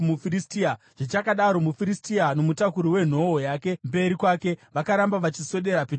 Zvichakadaro, muFiristia, nomutakuri wenhoo yake mberi kwake, vakaramba vachiswedera pedyo naDhavhidhi.